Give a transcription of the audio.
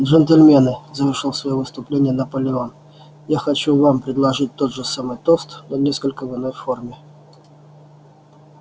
джентльмены завершил своё выступление наполеон я хочу вам предложить тот же самый тост но несколько в иной форме